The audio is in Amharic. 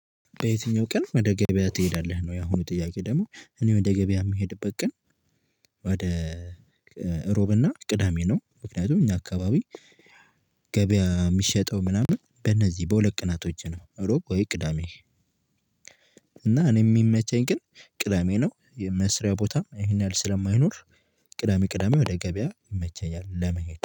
በየትኛው ቀን ወደ ገበያ ትሄዳለህ ነው? ያሁኑ ጥያቄ ደግሞ እኔ ወደ ገበያ የምሄድበት ቀን። ወደ እሮብና ቅዳሜ ነው። ምክንያቱም እኛ አካባቢ። ገበያ የሚሸጠው ምናምን በእነዚህ በሁለት ቀናቶች ነው። እሮብ ወይ ቅዳሜ። እና እኔ የሚመቸኝ ግን ቅዳሜ ነው። የመስሪያ ቦታ ይሄን ያህል ስለማይኖር። ቅዳሜ ቅዳሜ ወደ ገበያ ይመቸኛል ለመሄድ